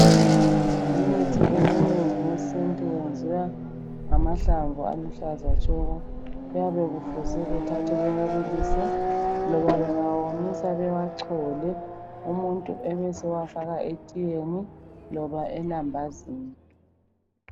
Imithi eminengi yesintu yenziwa ngamahlamvu aluhlaza tshoko kuyabe kufuze bethathe bewabilile loba bengawomisa bewachole umuntu ebesewafaka etiyeni loba elambazini.